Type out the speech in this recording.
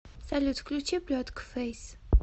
салют включи плетка фэйс